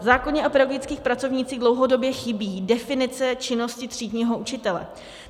V zákoně o pedagogických pracovnících dlouhodobě chybí definice činnosti třídního učitele.